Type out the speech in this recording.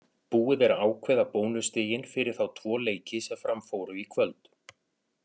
Búið er að ákveða bónusstigin fyrir þá tvo leiki sem fram fóru í kvöld.